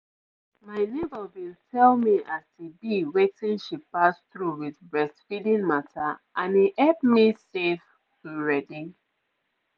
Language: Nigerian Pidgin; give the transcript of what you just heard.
my neighbour bin tell me as e be wetin she pass through with breastfeeding mata and e hep me sef to ready.